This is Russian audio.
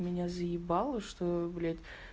меня заебало что блядь